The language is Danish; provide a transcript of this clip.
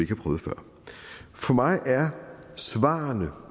prøvet før for mig er svarene